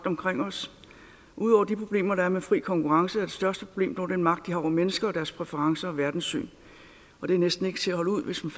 omkring os ud over de problemer der er med fri konkurrence er det største problem dog den magt de har over mennesker og deres præferencer og verdenssyn og det er næsten ikke til at holde ud hvis man